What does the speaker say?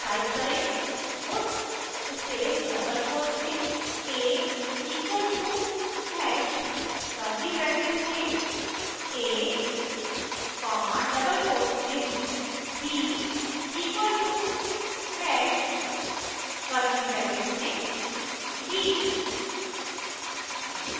type करें puts space double quotes में a equal to hash curly brackets में a comma double quotes में b equal to hash curly brackets में b